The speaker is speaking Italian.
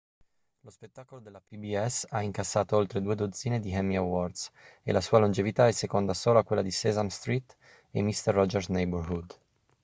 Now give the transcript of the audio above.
lo spettacolo della pbs ha incassato oltre due dozzine di emmy awards e la sua longevità è seconda solo a quella di sesame street e mister rogers' neighborhood